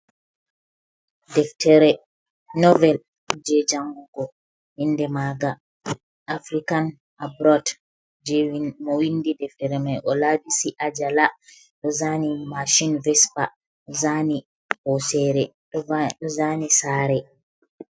Deftere novel je jangugo inde maga african abrod je mowindi deftere mai o labisi ajala ozani mashin vesper ɗo zani hosere ɗo zani sare.